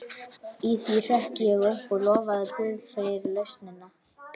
Í því hrökk ég upp og lofaði guð fyrir lausnina.